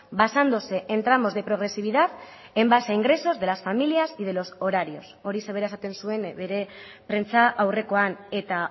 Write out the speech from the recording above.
basándose en tramos de progresividad en base a ingresos de las familias y de los horarios horixe bera esaten zuen bere prentsa aurrekoan eta